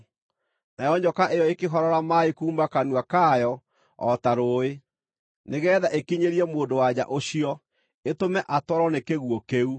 Nayo nyoka ĩyo ĩkĩhorora maaĩ kuuma kanua kayo o ta rũũĩ, nĩgeetha ĩkinyĩrie mũndũ-wa-nja ũcio, ĩtũme atwarwo nĩ kĩguũ kĩu.